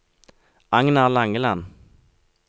Agnar Langeland